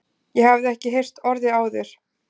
Ég hafði ekki heyrt orðið áður.